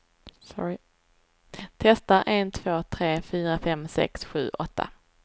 Testar en två tre fyra fem sex sju åtta.